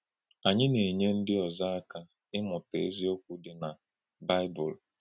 Ànyí Ànyí na-enye ndí ọ̀zọ̀ aka ímútà eziokwu dị na Bịbụl.